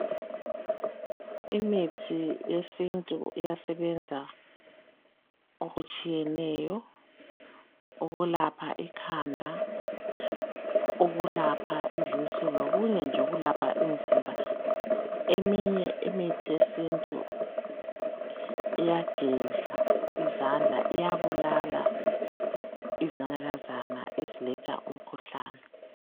Imithi yesintu iyasebenza okutshiyeneyo. Ukulapha ikhanda, ukulapha izisu, lokunye nje ukulapha umzimba. Eminye imithi yesintu iyageza izandla, iyabulala izinanakazana eziletha umkhuhlane.